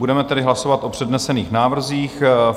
Budeme tedy hlasovat o přednesených návrzích.